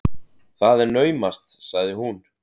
Það er naumast, sagði hún.